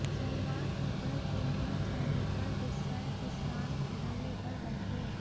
सोमवार को दस दिन बीत जाने पर गुस्साए किसान धरने पर बैठ गए